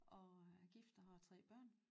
Og er gift og har tre børn